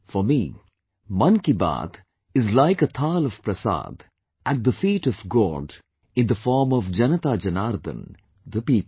For me, 'Mann Ki Baat' is like a Thaal of Prasad at the feet of God in the form of JanataJanardan, the people